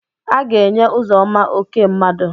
Aga-enye Ụzọma oké mmadụ.